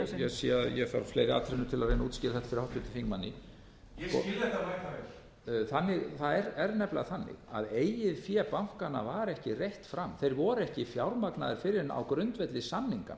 háttvirtum þingmanni ég skil þetta mæta vel það er nefnilega þannig að eigið fé bankanna var ekki reitt fram þeir voru ekki fjármagnaðir fyrr en á grundvelli samninganna